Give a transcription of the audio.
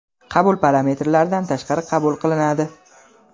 qabul parametrlaridan tashqari qabul qilinadi.